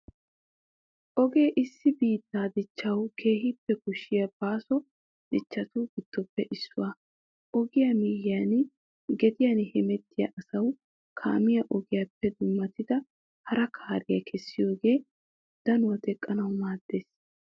Ogee issi biittaa dichchawu keehippe koshshiya baaso dichchatu giddoppe issuwaa. Ogiyaa miyyiyan gediyan hemettiya asawu kaamiyaa ogiyaappe dummayidi hara kariyaa keessiyogee danuwaa teqqanawu maaddees.